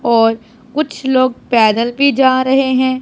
और कुछ लोग पैदल भी जा रहे हैं।